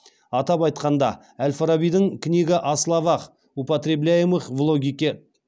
атап айтқанда әл фарабидің книга о словах употребляемых в логике